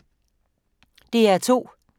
DR2